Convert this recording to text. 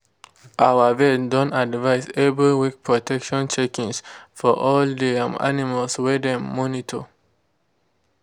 our vet don advise every week protection checkings for all de um animal wey dem monitor.